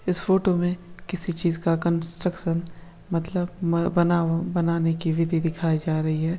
इस फोटो में किसी चीज का कंस्ट्रक्शन मतलब में बना बनाने की विधि दिखाई जा रही हैं।